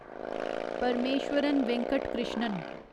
Parameswaran Venkat Krishnan